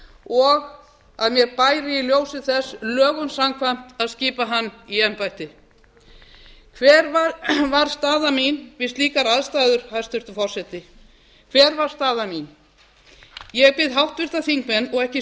og að mér bæri í ljósi þess lögum samkvæmt að skipa hann í embættið hver var staða mín við slíkar aðstæður hæstvirtur forseti hver var staða mín ég bið háttvirta þingmenn og ekki